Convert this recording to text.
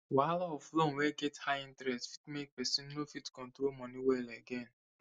wahala of loan wey get high interest fit make person no fit control money well again